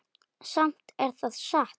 Samt er það satt.